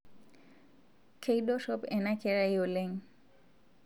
Keidorop ana kerai oleng